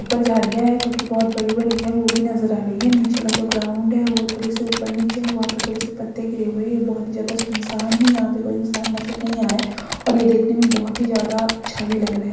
ऊपर झाड़ियाँ है जो की बहुत बड़ी-बड़ी है वो भी नजर आ रही है नीचे का जो ग्राउंड है वो थोड़े से ऊपर नीचे हुआ वहाँ पे थोड़े से पत्ते गिरे हुए हैं बहुत ही ज्यादा सुनसान है यहाँ पे कोई इंसान नजर नहीं आ रहा है और ये देखने में बहुत ही ज्यादा अच्छा भी लग रहा है।